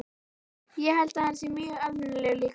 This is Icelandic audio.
Ég held að hann sé mjög almennilegur líka.